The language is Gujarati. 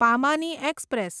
પામાની એક્સપ્રેસ